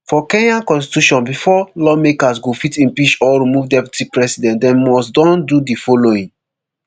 for kenya constitution bifor lawmakers go fit impeach or remove deputy president dem must don do di following